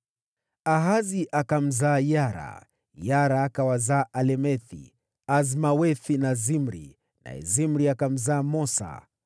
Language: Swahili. Ahazi akamzaa Yara, Yara akawazaa Alemethi, Azmawethi na Zimri, naye Zimri akamzaa Mosa.